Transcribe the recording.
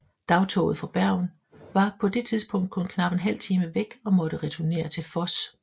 Dagtoget fra Bergen var på det tidspunkt kun knap en halv time væk og måtte returnere til Voss